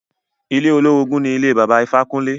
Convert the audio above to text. Ilé olórogùn ni ilé Bàbá Ifákúnle.